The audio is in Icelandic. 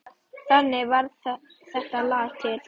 Þannig varð þetta lag til.